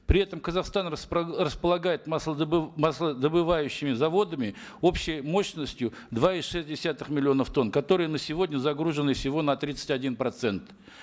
при этом казахстан располагает маслодобывающими заводами общей мощностью два и шесть десятых миллионов тонн которые на сегодня загружены всего на тридцать один процент